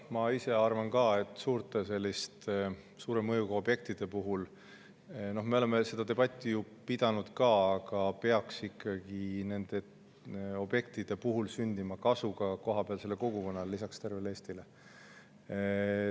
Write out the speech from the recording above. Ma ise arvan ka, et suure mõjuga objektide puhul – me oleme seda debatti ju pidanud ka – peaks lisaks tervele Eestile ikkagi sündima kasu ka kohapealsele kogukonnale.